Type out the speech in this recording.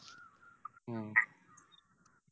ഉം